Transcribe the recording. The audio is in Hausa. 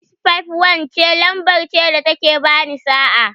651 ce lamber ce da ta ke ba ni sa'a.